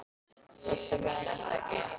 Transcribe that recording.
Þú ert að vinna, er það ekki?